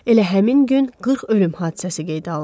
Elə həmin gün 40 ölüm hadisəsi qeydə alındı.